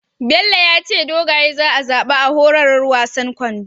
Bello yace dogaye za a zaba a horarwar wasan kwando